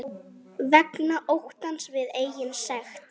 Vegna óttans við eigin sekt.